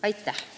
Aitäh!